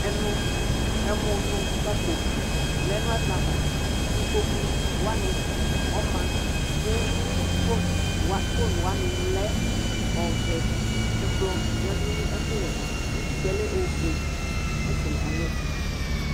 Emʋnʋkpako lɛ nʋ ɛkplɔ avaIkpoku wanɩ ɔma ,kʋ fon wanɩ lɛ ɔvɛƐkplɔ yǝdu nʋ ɛkʋ wɛ ava, utikpǝ yɛ lɛ ofue ɛfɛ alɩɛtʋ